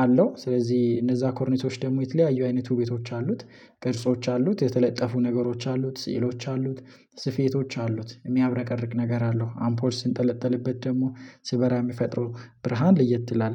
አለው ስለዚህ እነዛ ኮርኒሶች ደግሞ የተለያዩ አይነቱ ቤቶች አሉት ቅርጾች አሉት የተለጠፉ ነገሮች አሉት ስዕሎች አሉት ስፌቶች አሉት የሚያብረቀርቅ ነገር አለው። አምፖል ሲንጠለጥልበት ደግሞ ሲበራ የሚፈጥረው ብርሃን ለየት ይላል